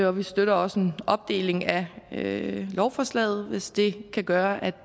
og vi støtter også en opdeling af lovforslaget hvis det kan gøre